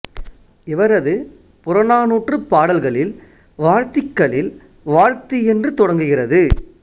இவரது புறநானூற்றுப் பாடல் கள்ளில் வாழ்த்திக் கள்ளில் வாழ்த்தி என்று தொடங்குகிறது